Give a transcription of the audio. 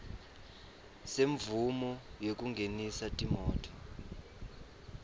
semvumo yekungenisa timoti